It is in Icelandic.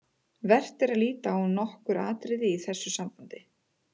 Vert er að líta á nokkur atriði í þessu sambandi.